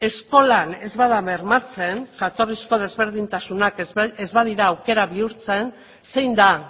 eskolan ez bada bermatzen jatorrizko desberdintasunak ez badira aukera bihurtzen zein da